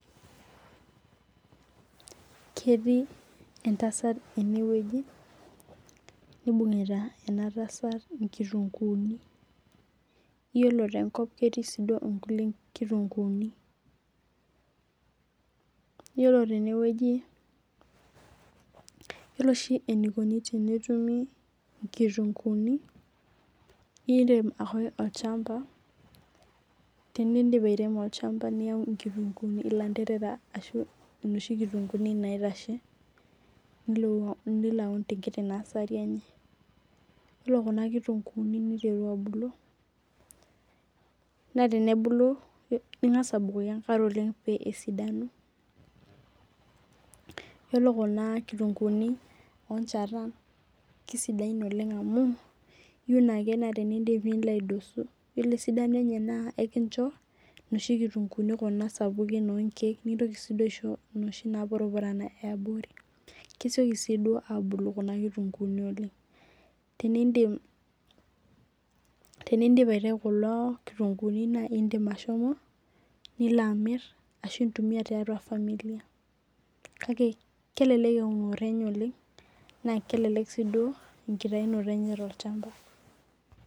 Ketii entasat eneweji nibunguta ena tasat inkutunkuni. Ore te nkop ketii sii duo inkulie kitunkuni. Iyiolo tene weji iyiolo oshi eneikoni tenetumi inkitunkini irem ake olchamba tedip airemo olchamba niyau ilanterera ashu inoshi kitunkuni naitashe nilo aun tenkiti nursery enye. Iyiolo kuna kitunkuni niteru abulu naa tenebulu ing'as abukoki enkare oleng' peyie esidanu. Iyiolo kuna kitunkunii oo nchatan kisidain oleng' amu iun ake ore pidip nilo aidosu. Iyiolo esidank enye naa incho noshi kitunkuni sapukin oo nkeek nikintoki sii aisho noshiu napurupurana ee abori. Kesioki sii duo abulu kuna kitunkuni oleng. Tenidip aitayu kulo kitunkuni naa idim ashomo nilo amir ashu intumia tiatua familia kake kelelek eunore enye oleng naa kelelek sii duo enkitaunoto enye tolchamba.